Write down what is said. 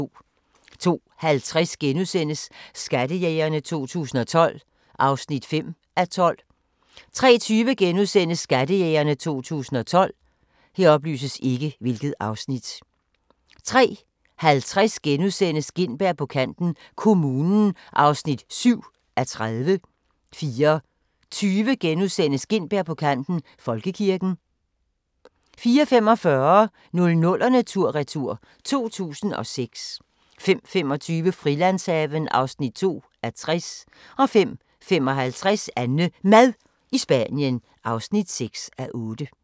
02:50: Skattejægerne 2012 (5:12)* 03:20: Skattejægerne 2012 * 03:50: Gintberg på kanten - kommunen (7:30)* 04:20: Gintberg på kanten - Folkekirken * 04:45: 00'erne tur-retur: 2006 05:25: Frilandshaven (2:60) 05:55: AnneMad i Spanien (6:8)